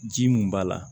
Ji mun b'a la